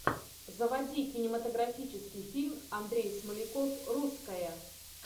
заводи кинематографический фильм андрей смоляков русская